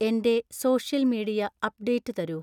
എന്‍റെ social media update തരൂ